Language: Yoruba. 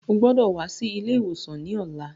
O gbọdọ̀ wá sí ilé ìwòsàn ní ọ̀la.